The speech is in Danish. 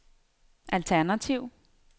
alternativ